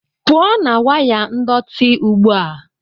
pụọ na waya ndọtị ugbu a!